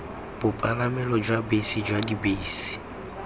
bopalamelo jwa bese jwa dibese